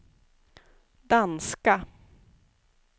danska